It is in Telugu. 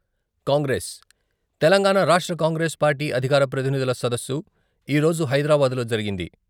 కాంగ్రెస్ - తెలంగాణా రాష్ట్ర కాంగ్రెస్ పార్టీ అధికార ప్రతినిధుల సదస్సు ఈ రోజు హైదరాబాద్లో జరిగింది.